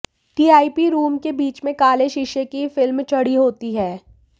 TIP room के बीच मे काले शीशे की फिल्म चढ़ी होती है